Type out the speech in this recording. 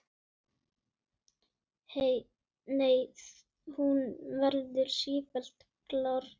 Nei, hún verður sífellt grárri.